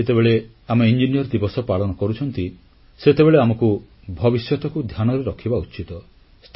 ଆଜି ଯେତେବେଳେ ଆମେ ଇଞ୍ଜିନିୟର ଦିବସ ପାଳନ କରୁଛୁ ସେତେବେଳେ ଆମକୁ ଭବିଷ୍ୟତକୁ ଧ୍ୟାନରେ ରଖିବା ଉଚିତ